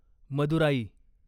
Madurai